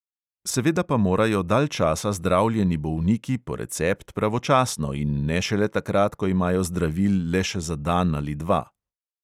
Seveda pa morajo dalj časa zdravljeni bolniki po recept pravočasno in ne šele takrat, ko imajo zdravil le še za dan ali dva.